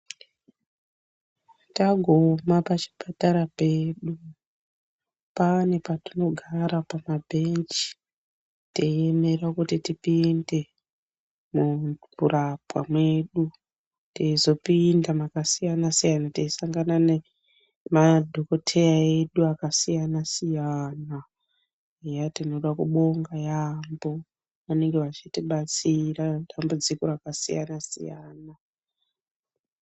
Taguma pa chipatara pedu pane patino gara paka bhenji tei emera kuti tipinde muku rapwa medu teizo pinda maka siyana siyana tei sangana ne madhokoteya edu aka siyana siyana eya tinoda kubonga yambo anenge echiti batsira ma tambudziko aka siyana siyana.